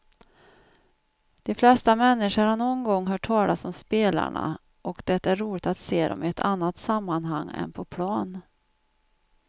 De flesta människor har någon gång hört talas om spelarna och det är roligt att se dem i ett annat sammanhang än på plan.